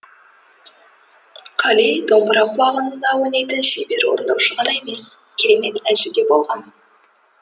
қали домбыра құлағында ойнайтын шебер орындаушы ғана емес керемет әнші де болған